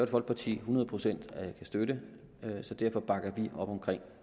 folkeparti hundrede procent kan støtte så derfor bakker vi op om